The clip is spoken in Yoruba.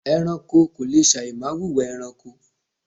ẹranko kò le sàì má wùwà ẹranko